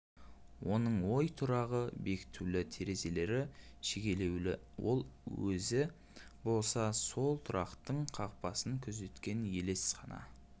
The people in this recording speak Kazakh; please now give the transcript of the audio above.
оның ой тұрағы бекітулі терезелері шегелеулі ал өзі болса сол тұрақтың қақпасын күзеткен елес қана